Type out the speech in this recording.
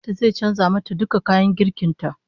Yayan ta zai canza mata duka kayan girkin ta